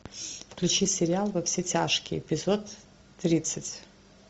включи сериал во все тяжкие эпизод тридцать